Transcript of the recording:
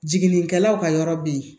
Jiginnikɛlaw ka yɔrɔ be yen